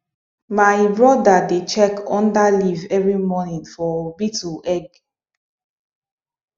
my brother dey check under leaf every morning for beetle egg